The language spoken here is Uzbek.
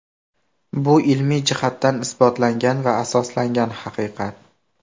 Bu ilmiy jihatdan isbotlangan va asoslangan haqiqat.